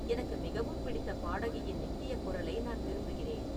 எனக்கு மிகவும் பிடித்த பாடகியின் நித்திய குரலை நான் விரும்புகிறேன்